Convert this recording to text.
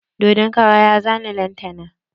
Dodon kara ya zane lantana.